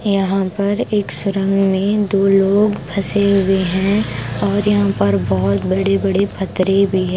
यहां पर एक सुरंग में दो लोग फंसे हुए हैं और यहां पर बहुत बड़े-बड़े फतरे भी हैं।